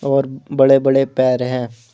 और बड़े-बड़े पैर हैं।